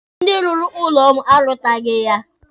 Ndị rụrụ ụlọ ọrụ m arụtaghị ya